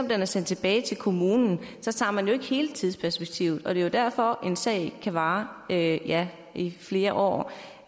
om den er sendt tilbage til kommunen tager man jo ikke hele tidsperspektivet med og det er derfor at en sag kan vare ja ja i flere år